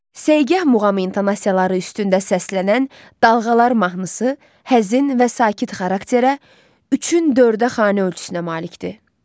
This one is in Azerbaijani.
Segah muğam intonasiyaları üstündə səslənən "Dalğalar" mahnısı həzin və sakit xarakterə, 3-ün 4-ə xanə ölçüsünə malikdir.